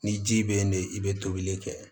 Ni ji bɛ yen de i bɛ tobili kɛ